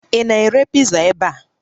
Ị na-ere piza ebe a?